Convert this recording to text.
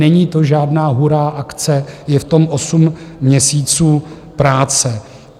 Není to žádná hurá akce, je v tom osm měsíců práce.